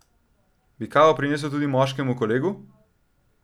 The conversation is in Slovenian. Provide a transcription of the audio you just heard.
Bi kavo prinesel tudi moškemu kolegu?